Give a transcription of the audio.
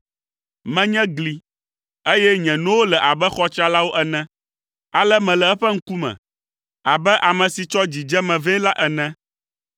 Menye gli, eye nye nowo le abe xɔ tsralawo ene. Ale mele eƒe ŋkume abe ame si tsɔ dzidzeme vɛ la ene.